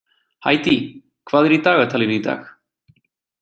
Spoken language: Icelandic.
Hædý, hvað er í dagatalinu í dag?